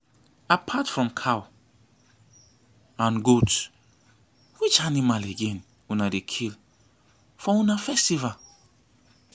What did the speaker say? apart from cow and goat which animal again una dey kill for una festival